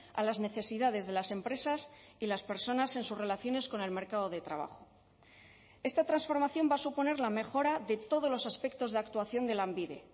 a las necesidades de las empresas y las personas en sus relaciones con el mercado de trabajo esta transformación va a suponer la mejora de todos los aspectos de actuación de lanbide